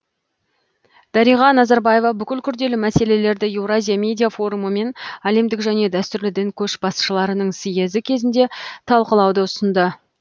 дариға назарбаева бұл күрделі мәселелерді еуразия медиа форумы мен әлемдік және дәстүрлі дін көшбасшыларының съезі кезінде талқылауды ұсынды